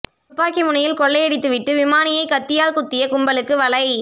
துப்பாக்கி முனையில் கொள்ளையடித்து விட்டு விமானியை கத்தியால் குத்திய கும்பலுக்கு வலை